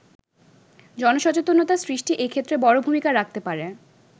জনসচেতনতা সৃষ্টি এক্ষেত্রে বড় ভূমিকা রাখতে পারে।